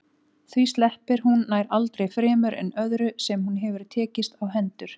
Því sleppir hún nær aldrei fremur en öðru sem hún hefur tekist á hendur.